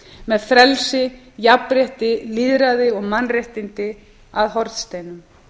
með frelsi jafnrétti lýðræði og mannréttindi að hornsteinum